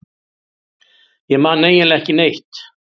Ég man eiginlega ekki neitt.